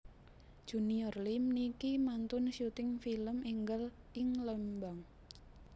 Junior Liem niki mantun syuting film enggal ing Lembang